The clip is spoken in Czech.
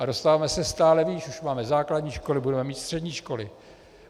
A dostáváme se stále výš, už máme základní školy, budeme mít střední školy.